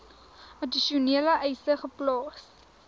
addisionele eise geplaas